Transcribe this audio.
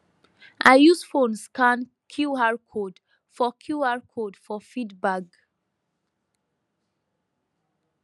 i use phone scan qr code for qr code for feed bag